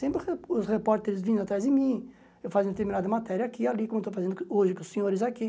Sempre os re os repórteres vindo atrás de mim, eu fazendo determinada matéria aqui e ali, como eu estou fazendo hoje com os senhores aqui.